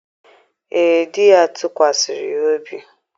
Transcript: ee, di ya tụkwasịrị ya obi.